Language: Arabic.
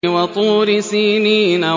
وَطُورِ سِينِينَ